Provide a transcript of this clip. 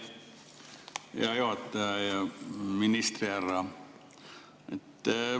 Hea juhataja ja ministrihärra!